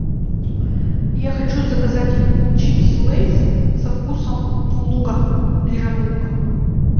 я хочу заказать чипсы лейс со вкусом лука зеленого лука